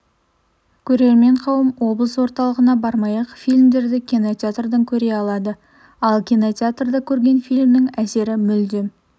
көрермен қауым облыс орталығына бармай-ақ фильмдерді кинотеатрдан көре алады ал кинотеатрда көрген фильмнің әсері мүлдем